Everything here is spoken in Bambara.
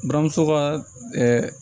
Buramuso ka